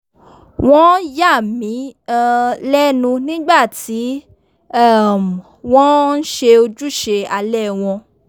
wọ́n yà mí um lẹ́nu nígbà tí um wọ́n ń ṣe ojúṣe alẹ́ wọn